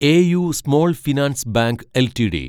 AU small finance bank LTD